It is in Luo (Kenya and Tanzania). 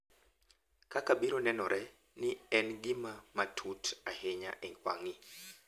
Kaka biro nenore ni en gima matut ahinya e wang’i.